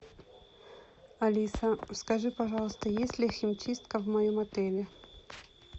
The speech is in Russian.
алиса скажи пожалуйста есть ли химчистка в моем отеле